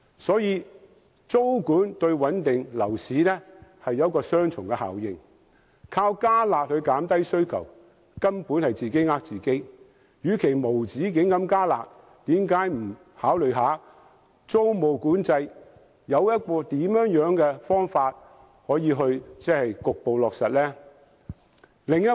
所以，租管對穩定樓市有雙重效應，只靠"加辣"減低需求根本是自欺欺人，與其無止境地"加辣"，政府何不考慮應怎樣妥善地局部落實租管？